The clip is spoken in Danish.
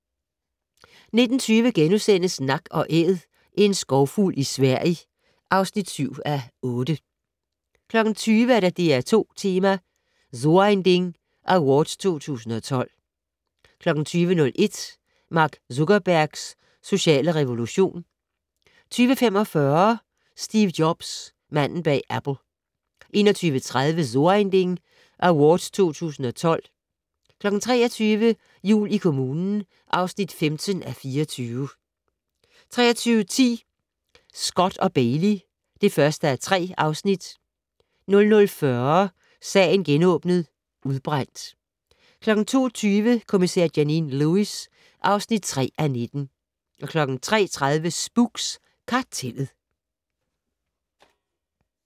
19:20: Nak & Æd - en skovfugl i Sverige (7:8)* 20:00: DR2 Tema: So ein Ding Awards 2012 20:01: Mark Zuckerbergs sociale revolution 20:45: Steve Jobs - manden bag Apple 21:30: So ein Ding Awards 2012 23:00: Jul i kommunen (15:24) 23:10: Scott & Bailey (1:3) 00:40: Sagen genåbnet: Udbrændt 02:20: Kommissær Janine Lewis (3:19) 03:30: Spooks: Kartellet